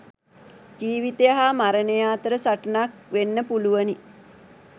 ජීවිතය හා මරණය අතර සටනක් වෙන්න පුළුවනි.